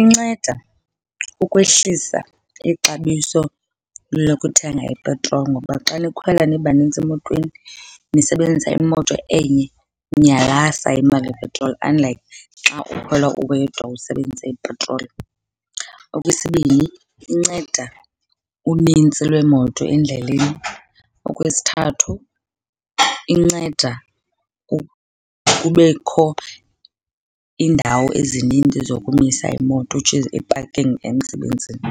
Inceda ukwehlisa ixabiso lokuthenga ipetroli ngoba xa nikhwela nibanintsi emotweni nisebenzisa imoto enye iyalasta imali yepetroli, unlike xa ukhwela uwedwa usebenzise ipetroli. Okwesibini, inceda unintsi lweemoto endleleni. Okwesithathu, inceda kubekho iindawo ezininzi zokumisa iimoto, which is i-parking emsebenzini.